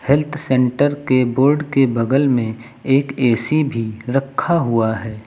Health centre के board के बगल में एक ऐ_सी भी रखा हुआ है।